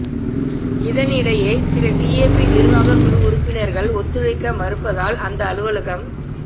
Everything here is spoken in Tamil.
இதனிடையே சில டிஏபி நிர்வாகக் குழு உறுப்பினர்கள் ஒத்துழைக்க மறுப்பதால் அந்த அலுவலகம்